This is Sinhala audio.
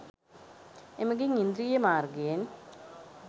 එමගින් ඉන්ද්‍රිය මාර්ගයෙන්